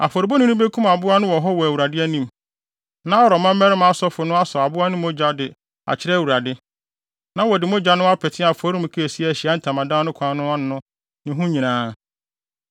Afɔrebɔni no bekum aboa no wɔ hɔ wɔ Awurade anim. Na Aaron mmabarima asɔfo no asɔw aboa no mogya de akyerɛ Awurade. Na wɔde mogya no apete afɔremuka a esi Ahyiae Ntamadan no kwan no ano no ne ho nyinaa.